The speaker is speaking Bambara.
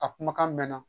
A kumakan mɛn na